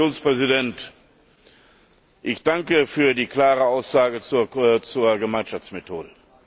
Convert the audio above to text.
Herr Kommissionspräsident, ich danke für die klare Aussage zur Gemeinschaftsmethode.